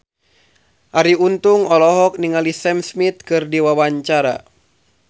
Arie Untung olohok ningali Sam Smith keur diwawancara